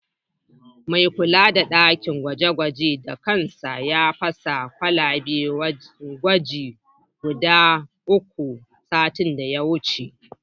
Mai kula da ɗakin gwaje-gwajen da kansa ya fasa kwalaben gwaji guda uku, satin da ya wuce.